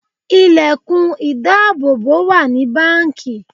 Ilẹ̀kùn ìdáàbò wà ní báńkì.